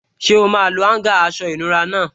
Ṣé o máa lo áúngà aṣọ ìnura náà?